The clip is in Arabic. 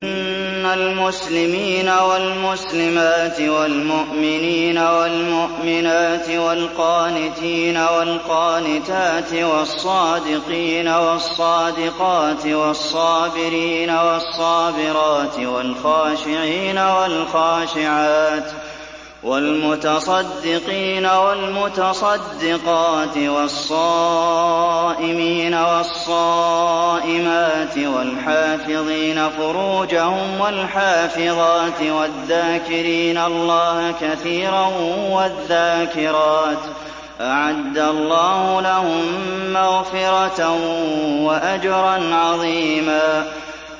إِنَّ الْمُسْلِمِينَ وَالْمُسْلِمَاتِ وَالْمُؤْمِنِينَ وَالْمُؤْمِنَاتِ وَالْقَانِتِينَ وَالْقَانِتَاتِ وَالصَّادِقِينَ وَالصَّادِقَاتِ وَالصَّابِرِينَ وَالصَّابِرَاتِ وَالْخَاشِعِينَ وَالْخَاشِعَاتِ وَالْمُتَصَدِّقِينَ وَالْمُتَصَدِّقَاتِ وَالصَّائِمِينَ وَالصَّائِمَاتِ وَالْحَافِظِينَ فُرُوجَهُمْ وَالْحَافِظَاتِ وَالذَّاكِرِينَ اللَّهَ كَثِيرًا وَالذَّاكِرَاتِ أَعَدَّ اللَّهُ لَهُم مَّغْفِرَةً وَأَجْرًا عَظِيمًا